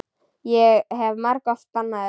Ég hef margoft bannað þér.